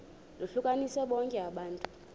lohlukanise bonke abantu